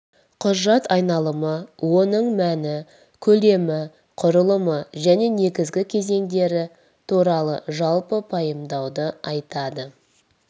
құжат айналымы оның мәні көлемі құрылымы және негізгі кезеңдері туралы жалпы пайымдауды айтады